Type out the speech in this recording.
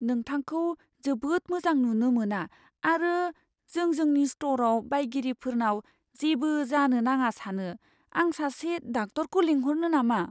नोंथांखौ जोबोद मोजां नुनो मोना आरो जों जोंनि स्ट'रआव बायगिरिफोरनाव जेबो जानो नाङा सानो। आं सासे डाक्टरखौ लिंहरनो नामा?